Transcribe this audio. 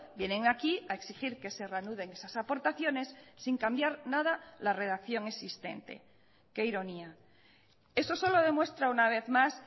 vienen aquí a exigir que se reanuden esas aportaciones sin cambiar nada la redacción existente qué ironía eso solo demuestra una vez más